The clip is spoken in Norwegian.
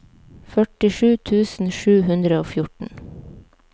førtisju tusen sju hundre og fjorten